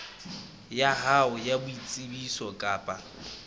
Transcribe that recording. ya hao ya boitsebiso kapa